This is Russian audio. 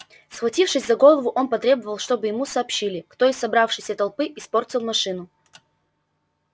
схватившись за голову он потребовал чтобы ему сообщили кто из собравшейся толпы испортил машину